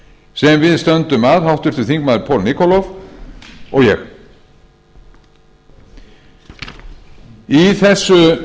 sem við stöndum að háttvirtur þingmaður paul nikolov og ég í þessu